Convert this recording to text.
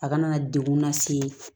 A kana degun lase